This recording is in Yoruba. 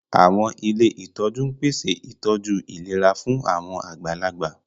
Àwọn ilé ìtọ́jú ń pèsè ìtọ́jú ìlera fún àwọn àgbàlagbà